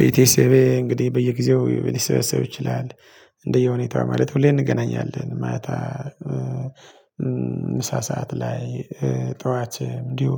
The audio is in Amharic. ቤተሰቤ እንግዲህ በየጊዜው ሊሰበሰብ ይችላል። እንደየሁኔታው ማለት ሁሌም እንገናኛለን ማታ ምሳ ሰዓት ላይ ጠዋት እንዲሁ